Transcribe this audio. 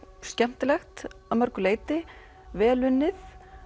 skemmtilegt að mörgu leyti vel unnið